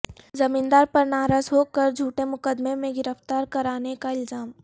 زمیندار پر ناراض ہو کر جھوٹے مقدمے میں گرفتار کرانے کا الزام